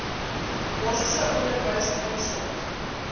basiese onderwys insluit